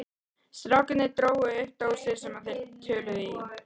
Strákarnir drógu upp dósir sem þeir töluðu í.